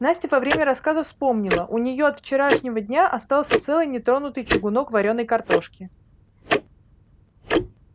настя во время рассказа вспомнила у неё от вчерашнего дня остался целый нетронутый чугунок варёной картошки